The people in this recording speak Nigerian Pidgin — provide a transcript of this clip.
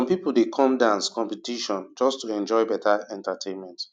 some people dey come dance competition just to enjoy better entertainment